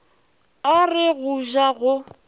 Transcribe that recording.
a re go ja go